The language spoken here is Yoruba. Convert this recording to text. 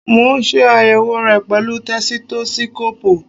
Mo ń ṣe àyèwò re pẹ̀lú tẹsitósíkóòpù